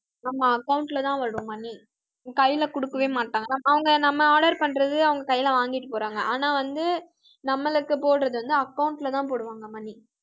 ஆமா account லதான் வரும் money கையிலே கொடுக்கவே மாட்டாங்க. அவங்க நம்ம order பண்றது அவங்க கையிலே வாங்கிட்டுப் போறாங்க. ஆனா வந்து, நம்மளுக்குப் போடுறது வந்து account லேதான் போடுவாங்க money